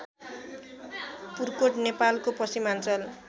पुर्कोट नेपालको पश्चिमाञ्चल